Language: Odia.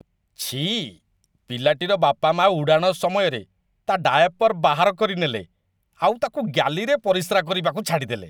ଛିଃ, ପିଲାଟିର ବାପାମାଆ ଉଡ଼ାଣ ସମୟରେ ତା' ଡାୟାପର୍ ବାହାର କରିନେଲେ ଆଉ ତା'କୁ ଗ୍ୟାଲିରେ ପରିସ୍ରା କରିବାକୁ ଛାଡ଼ିଦେଲେ।